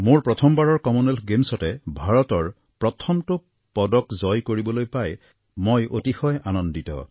মোৰ প্ৰথমবাৰৰ কমনৱেলথ গেমছতে ভাৰতৰ প্ৰথমটো পদক জয় কৰিবলৈ পাই মই অতিশয় আনন্দিত